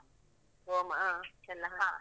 ಓಮ ಅಹ್.